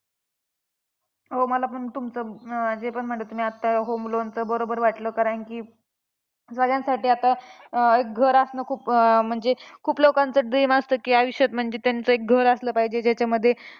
हो मला पण तुमचं अं तुम्ही जे पण म्हणला आत्ता ते home loan चं ते बरोबर वाटलं, कारण की सगळ्यांसाठी आता एक घर असणं खूप म्हणजे खूप लोकांचं dream असतं की, आयुष्यात म्हणजे त्यांचं एक घर असलं पाहिजे. ज्याच्यामध्ये